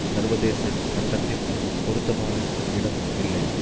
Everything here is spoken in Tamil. சர்வதேச சட்டத்தில் பொருத்தமான இடம் இல்லை